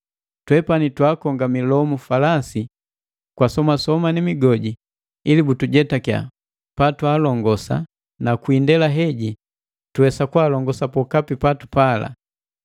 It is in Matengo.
Twepani twaakonga milomu falasi kwa somasoma ni migoji ili butujetakia patwalongosa na kwi indela heji tuwesa kwaalongosa pokapi patupala.